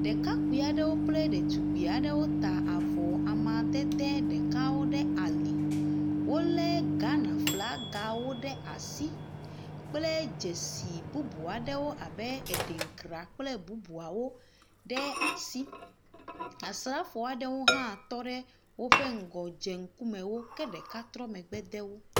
Ɖekakpui aɖewo kple ɖetugbui aɖewo ta avɔ amadede ɖekawo ɖekawo ɖe ali. Wolé Ghana flagawo ɖe asi kple dzesi bubu aɖewo abe edenkra kple bubuawo ɖe asi, Asrafo aɖewo hã tɔ ɖe woƒe ŋgɔ dze ŋkume wo ke ɖeka trɔ megbe de wo.